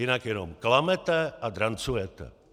Jinak jenom klamete a drancujete!